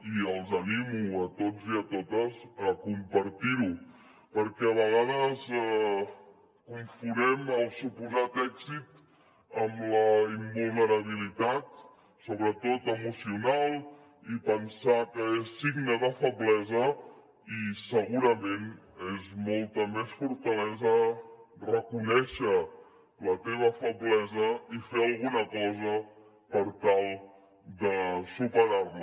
i els animo a tots i a totes a compartir ho perquè a vegades confonem el suposat èxit amb la invulnerabilitat sobretot emocional i pensar que és signe de feblesa i segurament és molta més fortalesa reconèixer la teva feblesa i fer alguna cosa per tal de superar la